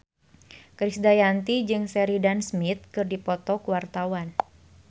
Krisdayanti jeung Sheridan Smith keur dipoto ku wartawan